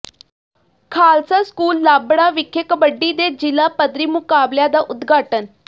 Khalsa school Lambra ਵਿਖੇ ਕਬੱਡੀ ਦੇ ਜ਼ਿਲ੍ਹਾ ਪੱਧਰੀ ਮੁਕਾਬਲਿਆਂ ਦਾ ਉਦਘਾਟਨ